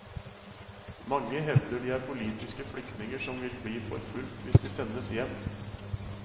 Mange hevder de er politiske flyktninger som vil bli forfulgt hvis de sendes hjem.